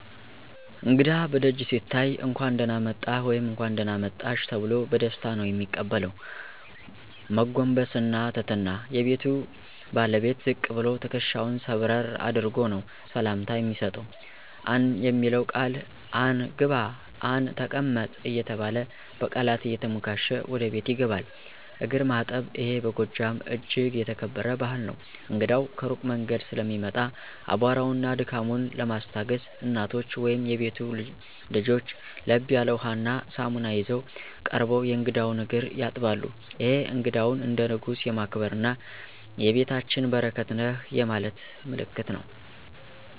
እንግዳ በደጅ ሲታይ "እንኳን ደህና መጣህ/ሽ" ተብሎ በደስታ ነው የሚቀበለው። መጎንበስና ትህትና፦ የቤቱ ባለቤት ዝቅ ብሎ፣ ትከሻውን ሰብረር አድርጎ ነው ሰላምታ የሚሰጠው። "አን" የሚለው ቃል፦ "አን! ግባ" "አን! ተቀመጥ" እየተባለ በቃላት እየተሞካሸ ወደ ቤት ይገባል። እግር ማጠብ ይሄ በጎጃም እጅግ የተከበረ ባህል ነው። እንግዳው ከሩቅ መንገድ ስለሚመጣ፣ አቧራውንና ድካሙን ለማስታገስ፦ እናቶች ወይም የቤቱ ልጆች ለብ ያለ ውሃና ሳሙና ይዘው ቀርበው የእንግዳውን እግር ያጥባሉ። ይሄ እንግዳውን "እንደ ንጉስ" የማክበርና "የቤታችን በረከት ነህ" የማለት ምልክት ነው።